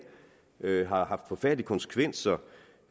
har haft forfærdelige konsekvenser